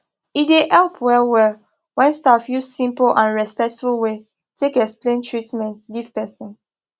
e dey help well well when staff use simple and respectful way take explain treatment give person